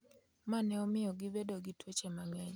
ma ne omiyo gibedo gi tuoche mang’eny.